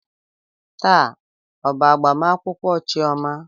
Taa ọ bụ agbamakwụkwọ chioma?